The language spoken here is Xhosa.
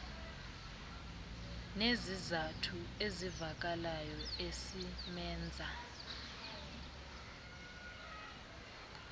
nesizathu esivakalayo esimenza